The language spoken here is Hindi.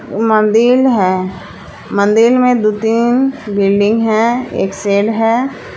मंदिल हैं मंदिल में दु तीन बिल्डिंग हैं एक शेड हैं।